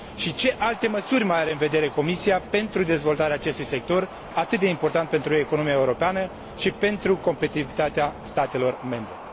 Ce alte măsuri mai are în vedere Comisia pentru dezvoltarea acestui sector atât de important pentru economia europeană și pentru competitivitatea statelor membre?